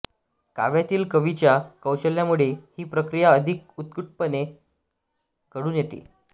काव्यातील कवीच्या कौशल्यामुळे ही प्रक्रिया अधिक उत्कटपणे घडून येते